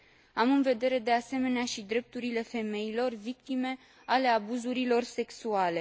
Am în vedere, de asemenea, și drepturile femeilor, victime ale abuzurilor sexuale.